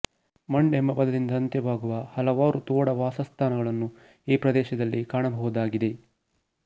ಮಂಡ್ ಎಂಬ ಪದದಿಂದ ಅಂತ್ಯವಾಗುವ ಹಲವಾರು ತೋಡ ವಾಸಸ್ಥಾನಗಳನ್ನು ಈ ಪ್ರದೇಶದಲ್ಲಿ ಕಾಣಬಹುದಾಗಿದೆ